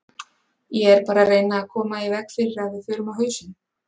Ég er bara að reyna að koma í veg fyrir að við förum á hausinn.